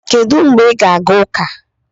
Kedu mgbe ị ga-aga ụka?